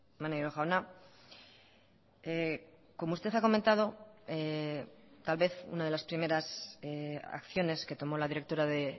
maneiro jauna como usted ha comentado tal vez una de las primeras acciones que tomó la directora de